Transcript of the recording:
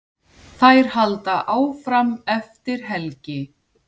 Þær halda áfram eftir helgi.